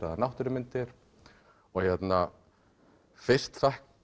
eða náttúrumyndir og hérna fyrst